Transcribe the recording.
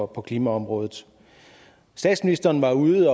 på klimaområdet statsministeren var ude